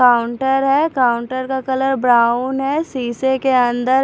counter है counter का colour brown है शीशे के अंदर--